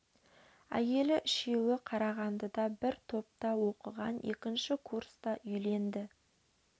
әйелі үшеуі қарағандыда бір топта оқыған екінші курста үйленді